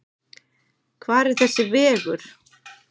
Hvar er þessi vegur?